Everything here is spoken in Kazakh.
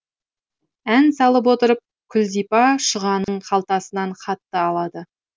ән салып отырып күлзипа шұғаның қалтасынан хатты алады